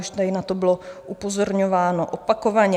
Už tady na to bylo upozorňováno opakovaně.